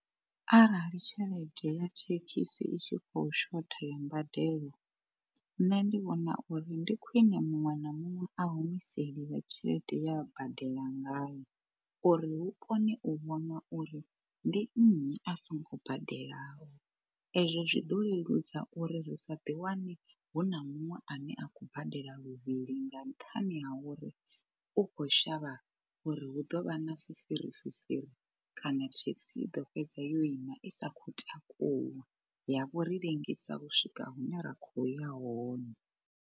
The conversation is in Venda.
Arali tshelede ya thekhisi i tshi khou shotha ya mbadelo, nṋe ndi vhona uri ndi khwine muṅwe na muṅwe a humiseliwe tshelede ye a badela ngayo, uri hu kone u vhona uri ndi nnyi a songo badelaho. Ezwo zwi ḓo leludza uri ri sa ḓi wane hu na muṅwe ane a khou badela luvhili nga nṱhani ha uri u kho shavha uri hu ḓovha na fifiri fifiri kana thekhisi i ḓo fhedza yo ima i sa khou takuwa ya vho ri ḽengisa u swika hune ra kho ya hone.